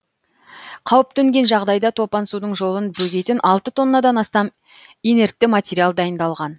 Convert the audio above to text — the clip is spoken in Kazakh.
қауіп төнген жағдайда топан судың жолын бөгейтін алты тоннадан астам инертті материал дайындалған